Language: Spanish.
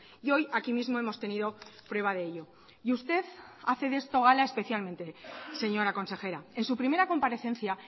y hoy aquí mismo hemos tenido prueba de ello y usted hace de esto gala especialmente señora consejera en su primera comparecencia